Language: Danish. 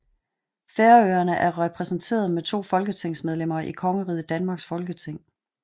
Færøerne er repræsenteret med to folketingsmedlemmer i Kongeriget Danmarks Folketing